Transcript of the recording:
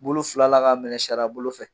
Bolo fila la k'a minɛ saria bolo fɛ.